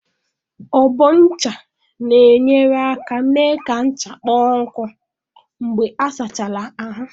Ọbọ ncha na-enyere aka mee ka ncha kpọọ nkụ mgbe a sachara ahụ.